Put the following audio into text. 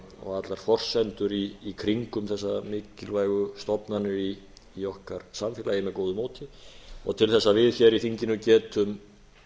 og allar forsendur í kringum þessar mikilvægu stofnanir í okkar samfélagi með góðu móti og til þess að við hér í þinginu getum